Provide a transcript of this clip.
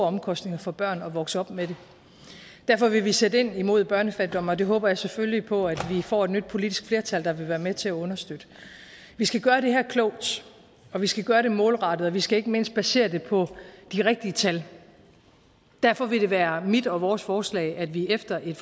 omkostninger for børn at vokse op med det derfor vil vi sætte ind imod børnefattigdom og det håber jeg selvfølgelig på at vi får et nyt politisk flertal der vil være med til at understøtte vi skal gøre det her klogt og vi skal gøre det målrettet og vi skal ikke mindst basere det på de rigtige tal derfor vil det være mit og vores forslag at vi efter et